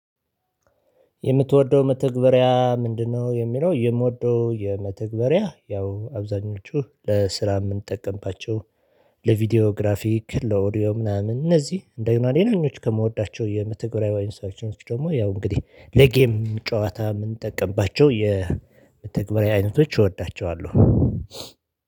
የምትወደው መተግበሪያ ምንድነው? የሚለው የምወደው የመተግበሪያ ያው አብዛኞቹ ለስራ የምንጠቀምባቸው ለቪዲዮ ግራፊክ ለኦዲዮ ምናምን እነዚህ እንደገና ሌላኞች ከምወዳቸው የመተግበሪያ አይነቶች ደሞ ያው እንግዲህ ለጌም ጨዋታ የምንጠቀምባቸው የመተግበሪያ አይነቶች እወዳቸዋለሁ።